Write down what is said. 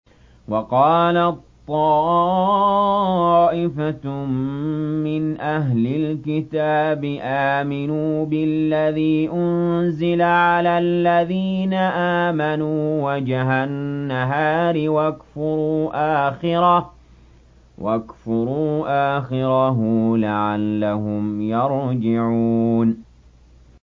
وَقَالَت طَّائِفَةٌ مِّنْ أَهْلِ الْكِتَابِ آمِنُوا بِالَّذِي أُنزِلَ عَلَى الَّذِينَ آمَنُوا وَجْهَ النَّهَارِ وَاكْفُرُوا آخِرَهُ لَعَلَّهُمْ يَرْجِعُونَ